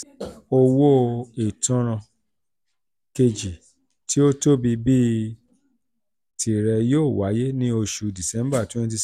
owó ìtanràn kejì tí ó tóbi bíi tirẹ̀ yóò wáyé ní oṣù december 2016.